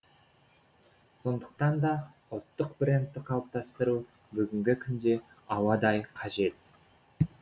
сондықтан да ұлттық брэндті қалыптастыру бүгінгі күнде ауадай қажет